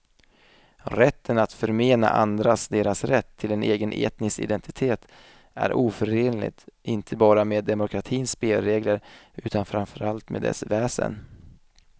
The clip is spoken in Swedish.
Rätten att förmena andra deras rätt till en egen etnisk identitet är oförenlig inte bara med demokratins spelregler utan framför allt med dess väsen.